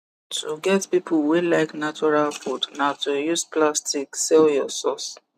to get people wey like natural food na to use plastic sell your source